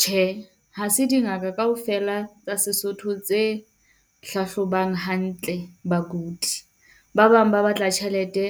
Tjhe, ha se dingaka kaofela tsa Sesotho tse hlahlobang hantle bakudi. Ba bang ba batla tjhelete